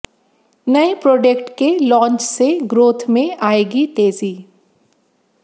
नए प्रोडक्ट के लॉन्च से ग्रोथ में आएगी तेज़ी